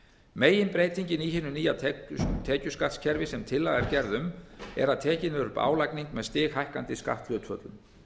meginbreytingin í hinu nýja tekjuskattskerfi sem tillaga er gerð um er að tekin er upp álagning með stighækkandi skatthlutföllum